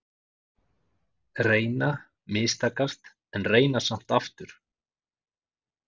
Reyna- mistakast, en reyna samt aftur.